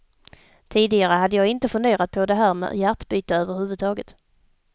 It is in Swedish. Tidigare hade jag inte funderat på det här med hjärtbyte överhuvudtaget.